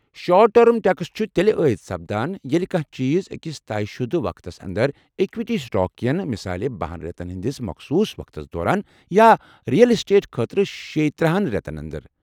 short term taxes چھِ تیٚلہِ ٲید سپدان ییٚلہِ کانٛہہ چیٖز أکس طے شُدٕ وقتس انٛدر، اِکوِٹی سٹاك کٮ۪ن مثالے بَہن رٮ۪تن ہندِس مخصوص وقتس دوران یا رِیل اٮ۪سٹیٹ خٲطرٕشےتٕرہَن رٮ۪تن انٛدر